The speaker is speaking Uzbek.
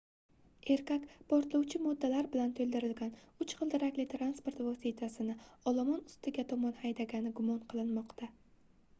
erkak portlovchi moddalar bilantoʻldirilgan uch gʻildirakli transport vositasini olomon ustiga tomon haydagani gumon qilinmoqda